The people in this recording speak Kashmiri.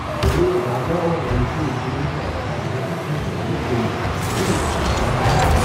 ییٚلہِ راجہ اور رنچٗو کنُۄہ شیتھ تہٕ ارہأٹھس منٛز ریلیز گٔیہِ یہِ گٔیہِ واریٛاہ ہِٹ۔